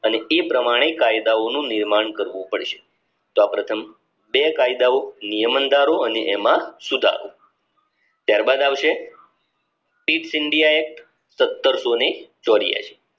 પ્રમાણે કાયદાઓ નું નિર્માણ કરવું પડશે સૌ પ્રથમ છે કાયદાઓ નિયમન ધારો અને એમાં સુધારો ત્યારબાદ આવશે this india act સત્તરસો ચોર્યાસી